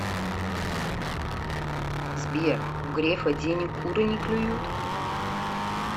сбер у грефа денег куры не клюют